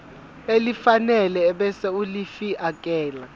elifanele ebese ulifiakela